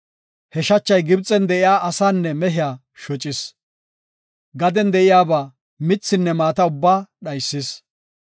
He shachay Gibxen de7iya asaanne mehiya shocis. Gaden de7iyaba, mithinne maata ubbaa dhaysis.